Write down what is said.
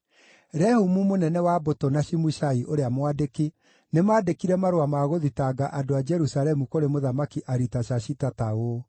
Rehumu mũnene wa mbũtũ na Shimushai ũrĩa mwandĩki, nĩmandĩkire marũa ma gũthitanga andũ a Jerusalemu kũrĩ Mũthamaki Aritashashita ta ũũ: